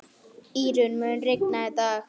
Írunn, mun rigna í dag?